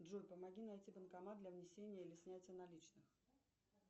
джой помоги найти банкомат для внесения или снятия наличных